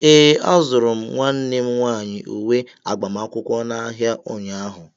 Ee, azụrụ m nwanne m nwaanyi uwe agbamakwụkwọ n'ahịa ụnyaahụ.